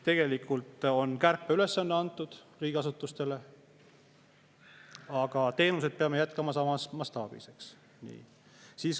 Tegelikult on kärpeülesanne antud riigiasutustele, aga teenuseid peab jätkama samas mastaabis.